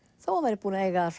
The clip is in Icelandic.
þó hann væri búinn að eiga þar